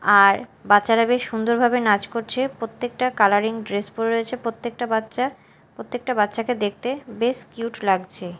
আর বাচ্চারা বেশ সুন্দর ভাবে নাচ করছে প্রত্যেকটা কালারিং ড্রেস পরে রয়েছে প্রত্যেকটা বাচ্চা প্রত্যেকটা বাচ্চাকে দেখতে বেশ কিউট লাগছে।